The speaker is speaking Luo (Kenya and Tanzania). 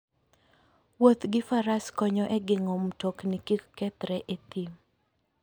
Wuoth gi Faras konyo e geng'o mtokni kik kethre e thim.